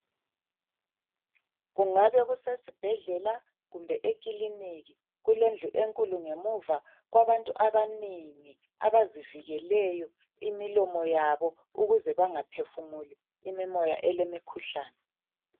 Kungabe kusesi bhedlela kumbe ekiliki. Kulendlu enkulu ngemuva kwabantu abanengi abazivikeleyo imilomo yabo ukuze bangaphefumuli imimoya elemikhuhlane.